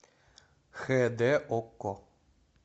хд окко